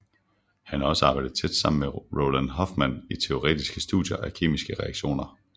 Han har også arbejdet tæt sammen med Roald Hoffmann i teoretiske studier af kemiske reaktioner